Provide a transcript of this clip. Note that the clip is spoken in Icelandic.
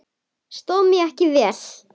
Stóð ég mig ekki vel?